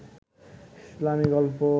ইসলামী গল্প